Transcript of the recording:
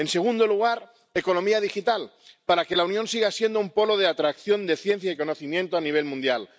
En segundo lugar, economía digital, para que la Unión siga siendo un polo de atracción de ciencia y conocimiento a nivel mundial.